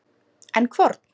En hvorn?